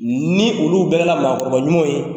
Ni olu bɛrɛla maakɔrɔba ɲumanw ye